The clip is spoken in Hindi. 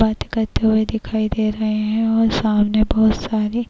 बाते करते हुवे दिखाई दे रहे है और सामने बहोत सारी --